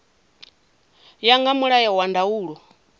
ya nga mulayo na ndaulo